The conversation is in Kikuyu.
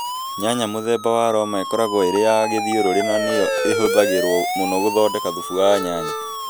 Nyanya mũthemba wa Roma ĩkoragwo ĩrĩ ya gĩthiũrũrĩ na nĩ yo ĩhũthagĩrũo mũno gũthondeka thubu wa nyanya.